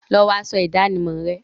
Lọ wọ aṣọ ìdánimọ̀ rẹ!